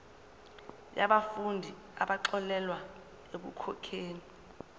yabafundi abaxolelwa ekukhokheni